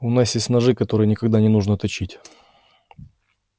у нас есть ножи которые никогда не нужно точить